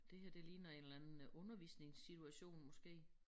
Det her det ligner en eller anden undervisningssituation måske